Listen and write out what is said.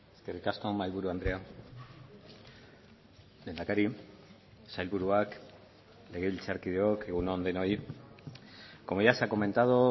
eskerrik asko mahaiburu andrea lehendakari sailburuak legebiltzarkideok egun on denoi como ya se ha comentado